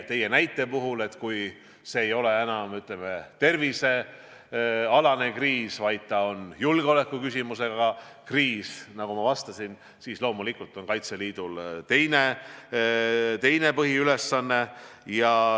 Teie näite puhul, kui see ei ole enam, ütleme, tervisealane kriis, vaid on julgeolekuküsimusega kriis, siis loomulikult on Kaitseliidul teine põhiülesanne.